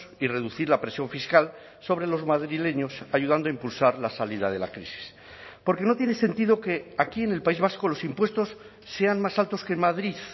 y reducir la presión fiscal sobre los madrileños ayudando a impulsar la salida de la crisis porque no tiene sentido que aquí en el país vasco los impuestos sean más altos que en madrid